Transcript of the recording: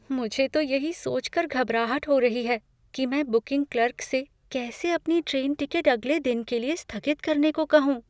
मुझे तो यही सोचकर घबराहट हो रही है कि मैं बुकिंग क्लर्क से कैसे अपनी ट्रेन टिकट अगले दिन के लिए स्थगित करने को कहूँ।